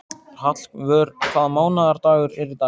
Hallvör, hvaða mánaðardagur er í dag?